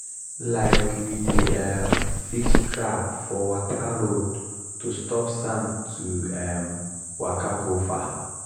um we dey um fix trap for water road to stop sand to um waka go far.